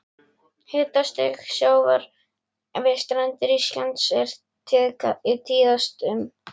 Hitastig sjávar við strendur Íslands er tíðast um